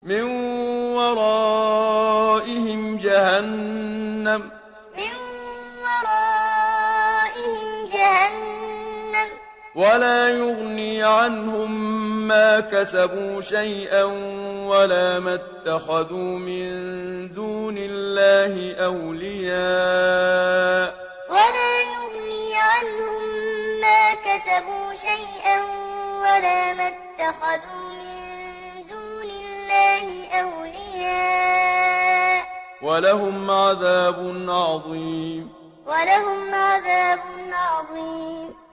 مِّن وَرَائِهِمْ جَهَنَّمُ ۖ وَلَا يُغْنِي عَنْهُم مَّا كَسَبُوا شَيْئًا وَلَا مَا اتَّخَذُوا مِن دُونِ اللَّهِ أَوْلِيَاءَ ۖ وَلَهُمْ عَذَابٌ عَظِيمٌ مِّن وَرَائِهِمْ جَهَنَّمُ ۖ وَلَا يُغْنِي عَنْهُم مَّا كَسَبُوا شَيْئًا وَلَا مَا اتَّخَذُوا مِن دُونِ اللَّهِ أَوْلِيَاءَ ۖ وَلَهُمْ عَذَابٌ عَظِيمٌ